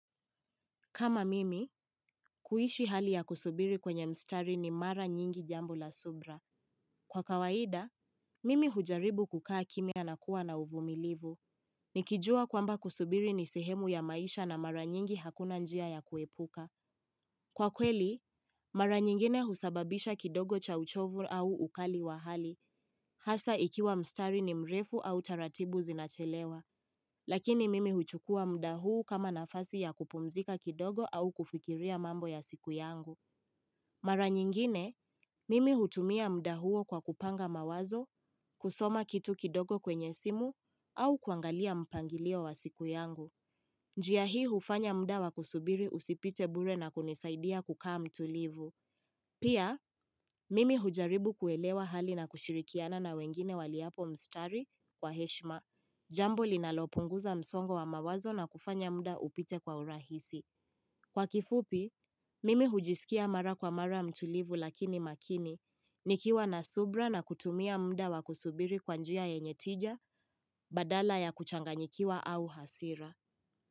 Kama mimi, kuishi hali ya kusubiri kwenye mstari ni mara nyingi jambo la subra. Kwa kawaida, mimi hujaribu kukaa kimya na kuwa na uvumilivu. Nikijua kwamba kusubiri ni sehemu ya maisha na mara nyingi hakuna njia ya kuepuka. Kwa kweli, mara nyingine husababisha kidogo cha uchovu au ukali wa hali. Hasa ikiwa mstari ni mrefu au taratibu zinachelewa. Lakini mimi huchukua muda huu kama nafasi ya kupumzika kidogo au kufikiria mambo ya siku yangu. Mara nyingine, mimi hutumia muda huo kwa kupanga mawazo, kusoma kitu kidogo kwenye simu, au kuangalia mpangilio wa siku yangu. Njia hii hufanya muda wa kusubiri usipite bure na kunisaidia kukaa mtulivu. Pia, mimi hujaribu kuelewa hali na kushirikiana na wengine waliopo mstari kwa heshma. Jambo linalopunguza msongo wa mawazo na kufanya muda upite kwa urahisi. Kwa kifupi, mimi hujisikia mara kwa mara mtulivu lakini makini, nikiwa na subira na kutumia muda wakusubiri kwa njia yenye tija, badala ya kuchanganyikiwa au hasira.